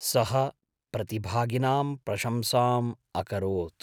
सः प्रतिभागिनां प्रशंसाम् अकरोत्।